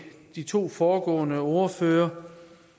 de to foregående ordførere